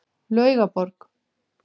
Laugaborg